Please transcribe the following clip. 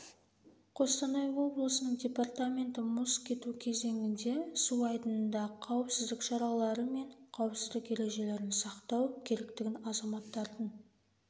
қостанай облысының департаменті мұз кету кезеңінде су айдынында қауіпсіздік шаралары мен қауіпсіздік ережелерін сақтау керектігін азаматтардың